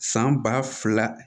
San ba fila